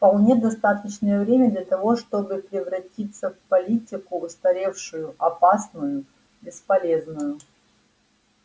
вполне достаточное время для того чтобы превратиться в политику устаревшую опасную бесполезную